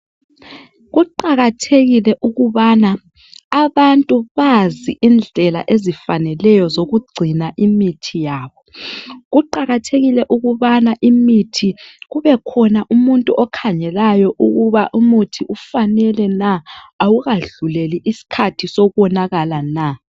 kuqakathekile ukubana abantu bazi indlela ezifaneleyo zokugcina imithi yabo kuqakathekile ukubana imithi kube khona umuntu okhangelayo ukuba umuthi ufanele na awukadluleli isikhathi sokonakala na